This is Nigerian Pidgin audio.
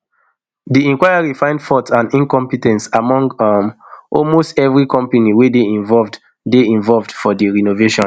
di inquiry find fault and incompe ten ce among um almost evri company wey dey involved dey involved for di renovation